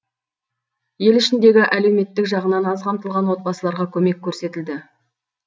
елі ішіндегі әлеуметтік жағынан аз қамтылған отбасыларға көмек көрсетілді